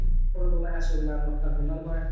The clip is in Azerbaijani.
Hələ ki orada olan əsl məlumatlar bundan ibarətdir.